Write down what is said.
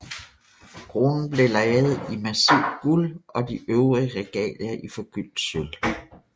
Kronen ble laget i massivt guld og de øvrige regalier i forgyldt sølv